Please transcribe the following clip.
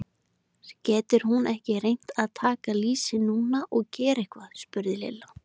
Getur hún ekki reynt að taka lýsi núna og gera eitthvað? spurði Lilla.